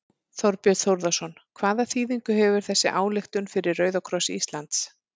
Þorbjörn Þórðarson: Hvaða þýðingu hefur þessi ályktun fyrir Rauða kross Íslands?